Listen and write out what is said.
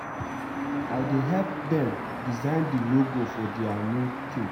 I dey help dem design the logo for their new theme